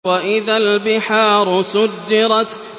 وَإِذَا الْبِحَارُ سُجِّرَتْ